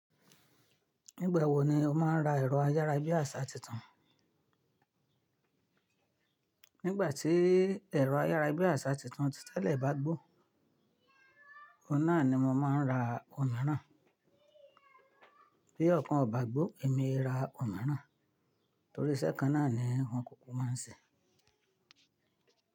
Nígbà wo ni o máa ń ra ẹ̀rọ ayárabíàṣá tuntun? Nígbà tí ẹ̀rọ ayárabíàṣá tuntun ti tẹ́lẹ̀ bá gbó, ọ̀hun nàa ni mo máa ń ra òmíràn. Bí ọ̀kan ò bá gbó èmi e ra òmíràn torí iṣẹ́ kan náà ni won kuku máa ń ṣe.